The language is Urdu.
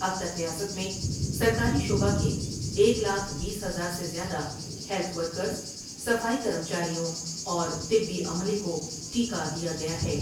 اب تک ریاست میں سرکاری شعبہ کے ایک لاکھ بیس ہزار سے زیادہ ہیلتھ ورکریں ، صفائی کرمچاریوں اور طبی عملے کو ٹیکہ دیا گیا ہے ۔